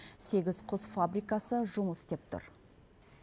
сегіз құс фабрикасы жұмыс істеп тұр